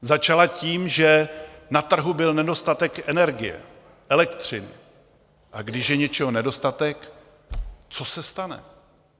Začala tím, že na trhu byl nedostatek energie, elektřiny, a když je něčeho nedostatek, co se stane?